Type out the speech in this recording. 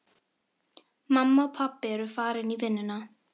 Mamma og pabbi eru farin í vinnuna.